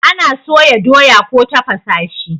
ana soya doya ko tafasa shi